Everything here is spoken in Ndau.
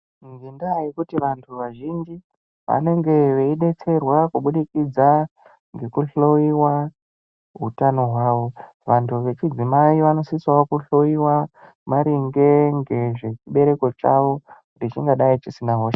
Ngendaa yekuti vantu vazhinji ,vanenge veidetsererwa kubudikidza ngekuhloiwa utano hwavo. Vantu vechidzimai vanosisawo kuhloiwa, maringe ngezvechibereko chavo ,kuti chingadai chisina hosha.